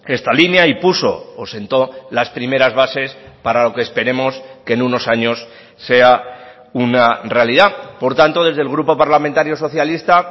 esta línea y puso o sentó las primeras bases para lo que esperemos que en unos años sea una realidad por tanto desde el grupo parlamentario socialista